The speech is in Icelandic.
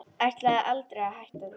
Ætlaði aldrei að hætta því.